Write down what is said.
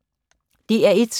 DR1